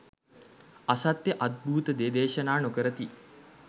අසත්‍ය අද්භූත දේ දේශනා නොකරති.